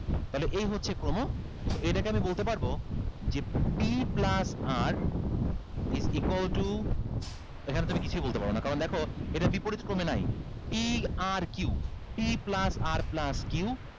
তাহলে এই হচ্ছে ক্রম so এইটাকে আমি বলতে পারবো যে p plus r is equal to এখানে তুমি কিছুই বলতে পারোনা কারণ দেখো এটা বিপরীত ক্রমে নাই p r q p plus r plus q